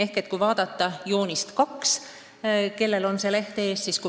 Kellel on see leht ees, vaadake joonist 2.